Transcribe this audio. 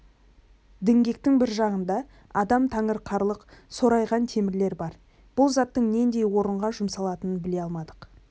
діңгектің бір жағында адам таңырқарлық сорайған темірлер бар бұл заттың нендей орынға жұмсалатынын біле алмадық